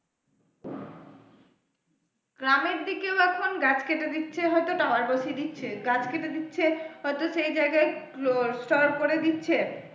গ্রামের দিকেও এখন গাছ কেটে দিচ্ছে হয়তো tower বসিয়ে দিচ্ছে, গাছ কেটে দিচ্ছে হয়তো সেই জায়গায় করে দিচ্ছে।